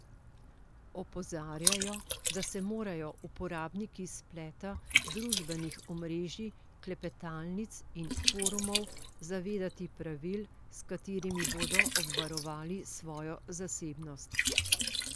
Opozarjajo, da se morajo uporabniki spleta, družbenih omrežij, klepetalnic in forumov zavedati pravil, s katerimi bodo obvarovali svojo zasebnost.